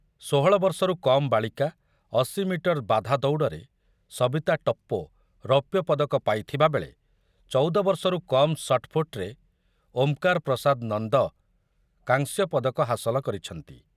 ଷୋହଳ ବର୍ଷରୁ କମ୍ ବାଳିକା ଅଶି ମିଟର ବାଧା ଦୌଡ଼ରେ ସବିତା ଟପ୍ପୋ ରୋପ୍ୟ ପଦକ ପାଇଥିବାବେଳେ ଚଉଦ ବର୍ଷରୁ କମ୍ ସଟ୍‌ପୁଟରେ ଓମ୍‌କାର ପ୍ରସାଦ ନନ୍ଦ କାଂସ୍ୟ ପଦକ ହାସଲ କରିଛନ୍ତି।